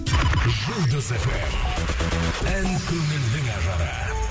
жұлдыз фм ән көңілдің ажары